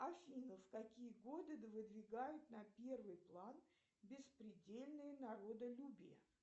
афина в какие годы выдвигают на первый план беспредельное народолюбие